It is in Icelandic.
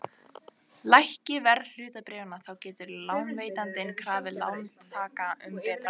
Lækki verð hlutabréfanna þá getur lánveitandinn krafið lántakann um betra veð.